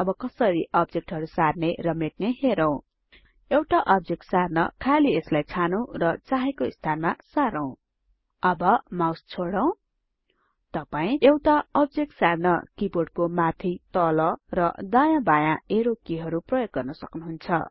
अब कसरी अब्जेक्टहरु सार्ने र मेट्ने हेरौं एउटा अब्जेक्ट सार्न खाली यसलाई छानौं र चाहेको स्थानमा सारौँ अब माउस छोडौं तपाई एउटा अब्जेक्ट सार्न किबोर्डको माथि तल र दायाँ बायाँ एरो किहरु पनि प्रयोग गर्नसक्नुहुन्छ